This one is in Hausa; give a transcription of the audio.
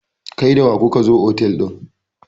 kai da wa kuka zo otal din?